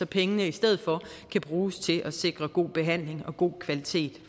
pengene i stedet for kan bruges til at sikre god behandling og god kvalitet